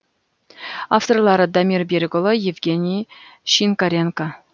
авторлары дамир берікұлы евгений шинкаренко